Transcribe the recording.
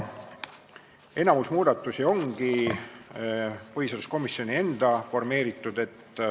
Enamik muudatusi ongi põhiseaduskomisjoni enda formeeritud.